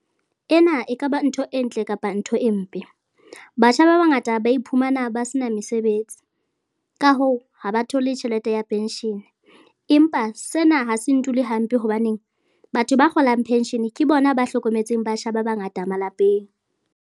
Ena ekaba ntho e ntle kapa ntho e mpe. Batjha ba bangata ba iphumana ba sena mesebetsi, ka hoo, ha ba thole tjhelete ya penshene, empa sena ha se ndule hampe hobaneng batho ba kgolang penshene ke bona ba hlokometseng batjha ba bangata malapeng.